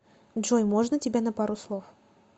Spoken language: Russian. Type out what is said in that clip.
джой можно тебя на пару слов